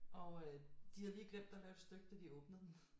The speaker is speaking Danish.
Og øh de havde lige glemt at lave et stykke da de åbnede den